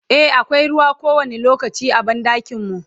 e akwai ruwa kowani lokaci a banɗakin mu